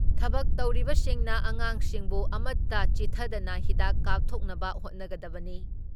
ꯊꯕꯛ ꯇꯧꯔꯤꯕꯁꯤꯡꯅ ꯉꯥꯡꯁꯤꯡꯕꯨ ꯑꯃꯠꯇ ꯆꯤꯠꯊꯗꯅ ꯍꯤꯗꯥꯛ ꯀꯥꯞꯊꯣꯛꯅꯕ ꯍꯣꯠꯅꯒꯗꯕꯅꯤ ꯫